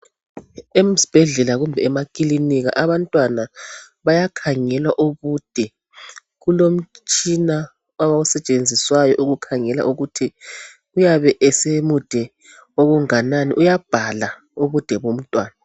Esibhedlela kumbe emakilinika abantwana bayakhangelwa ubude kulomtshina osetshenziswayo ukukhangela ukuthi uyabe esemude okunganani uyabhalwa ubude bomntwana.